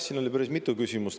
Siin oli päris mitu küsimust.